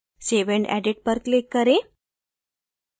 save and edit पर click करें